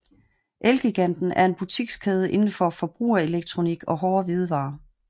Elgiganten er en butikskæde inden for forbrugerelektronik og hårde hvidevarer